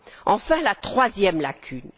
Enfin, la troisième lacune.